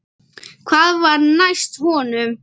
Hvað var næst honum?